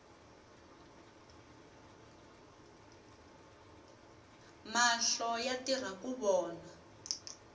mahlo yatirhaku vona